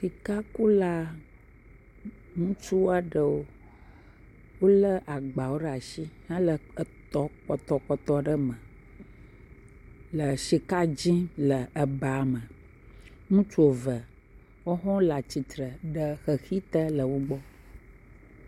Sikakula, ŋutsua ɖewo wolé agbawo ɖe asi hele etɔ kpɔtɔkpɔtɔ ɖe me le sika dim le eba me, ŋutsu eve, woawo hã wole atsitre le xexi te le wo gbɔ.